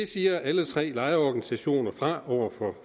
siger alle tre lejerorganisationer fra over